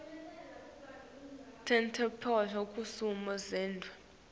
tetemphilo kusimo sendzawo